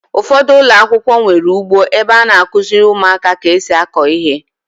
Ụfọdụ ụlọakwụkwọ nwere ugbo ebe a na-akụziri ụmụaka ka esi akọ ihe.